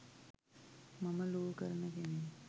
මම ලෝ කරන කෙනෙක්